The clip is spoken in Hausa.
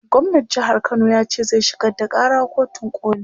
gwamnan jehar Kano yace zai shigar da Kara kotun koli